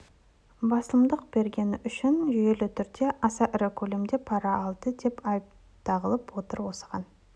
басымдық бергені үшін жүйелі түрде аса ірі көлемде пара алды деген айып тағылып отыр осыған